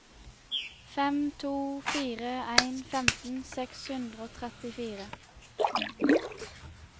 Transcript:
fem to fire en femten seks hundre og trettifire